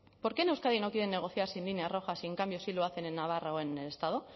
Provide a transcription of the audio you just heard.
por qué en euskadi no quieren negociar sin líneas rojas y en cambio sí lo hacen en navarra o en el estado